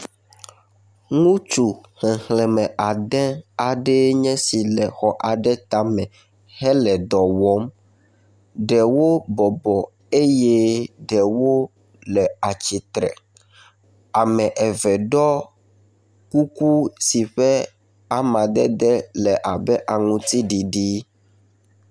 Ŋutsu xexleme ade aɖee nye si le xɔ aɖe tame hele dɔ wɔm. Ɖewo bɔbɔ eye ɖewo le atsitre. Ame eve ɖɔ kuku si ƒe amadede le abe aŋutsiɖiɖi.